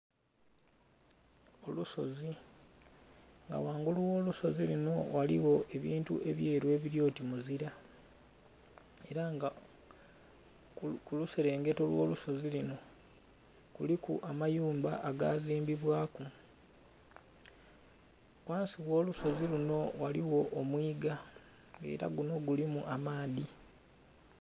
Olusozi nga ghangulu gh'olusozi luno ghaligho ebintu ebyeru ebiri oti muzira, era nga kuluserengeto olw'olusozi luno kuliku amayumba agaazimbibwaku. Ghansi ogh'olusozi luno ghaligho omwiga nga era guno gulimu amaadhi.